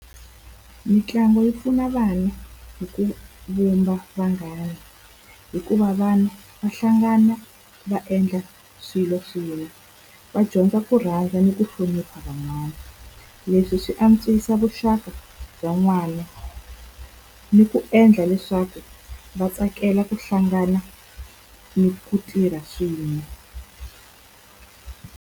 Mitlangu yi pfuna vanhu hi ku vumba vanghana, hikuva vanhu va hlangana va endla swilo swin'we. Va dyondza ku rhandza ni ku hlonipha van'wana, leswi swi antswisa vuxaka bya n'wana ni ku endla leswaku va tsakela ku hlangana ni ku tirha swin'we.